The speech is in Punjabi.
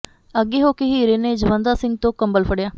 ਅੱਗੇ ਹੋ ਕੇ ਹੀਰੇ ਨੇ ਜਵੰਦਾ ਸਿੰਘ ਤੋਂ ਕੰਬਲ ਫੜਿਆ